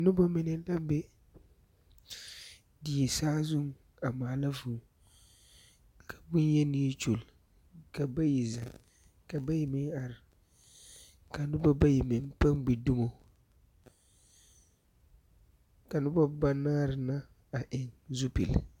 Noba mine na be die saazuŋ a maala vũũ. Ka boŋyeni kyuli, ka bayi zeŋ, ka bayi meŋ are. Ka noba bayi meŋ pãã gbi dumo, ka noba banaare na a eŋ zupile.